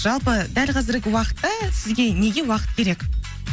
жалпы дәл қазіргі уақытта сізге неге уақыт керек